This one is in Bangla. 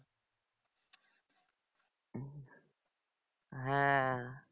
হ্যাঁ